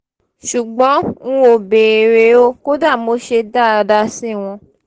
ṣùgbọ́n n ò béèrè o kódà mo ṣe dáadáa sí wọn